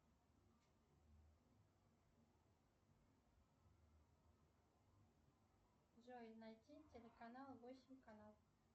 джой найти телеканал восемь канал